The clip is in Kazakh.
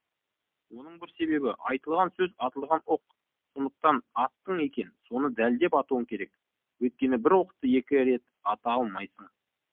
оның бір себебі айтылған сөз атылған оқ сондықтан аттың екен оны дәлдеп атуың керек өйткені бір оқты екі рет ата алмайсың